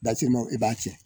Dasirimɔ i b'a tiɲɛ